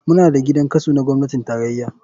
Muna da gidan kaso na gwamnatin tarraya.